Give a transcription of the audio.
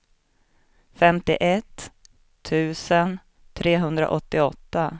femtioett tusen trehundraåttioåtta